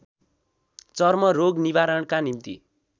चर्म रोग निवारणका निम्ति